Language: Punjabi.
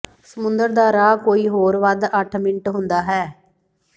ਸਮੁੰਦਰ ਦਾ ਰਾਹ ਕੋਈ ਹੋਰ ਵੱਧ ਅੱਠ ਮਿੰਟ ਹੁੰਦਾ ਹੈ